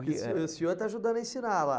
E o e o senhor está ajudando a ensinar lá.